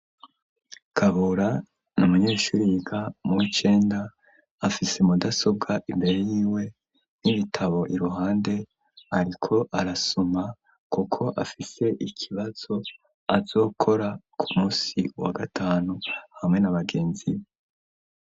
Kabura n'amanyeshuri yiga muw' icenda ,afise mudasobwa imbere yiwe n'ibitabo iruhande, ariko arasoma kuko afise ikibazo azokora ku munsi wa gatanu ,hamwe n'abagenzi we.